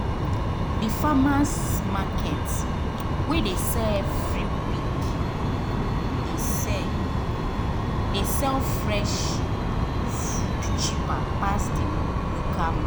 the farmers’ market wey dey sell every week dey sell dey sell fresh food cheaper pass the local